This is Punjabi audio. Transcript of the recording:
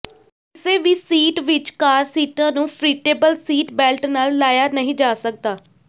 ਕਿਸੇ ਵੀ ਸੀਟ ਵਿਚ ਕਾਰ ਸੀਟਾਂ ਨੂੰ ਫ੍ਰੀਟੇਬਲ ਸੀਟਬੈਲਟ ਨਾਲ ਲਾਇਆ ਨਹੀਂ ਜਾ ਸਕਦਾ